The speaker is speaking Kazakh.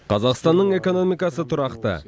қазақстанның экономикасы тұрақты